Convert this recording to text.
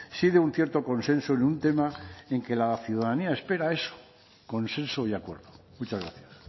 sí de un cierto consenso en un tema en que la ciudadanía espera eso consenso y acuerdo muchas gracias